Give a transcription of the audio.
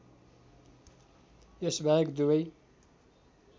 यस बाहेक दुबै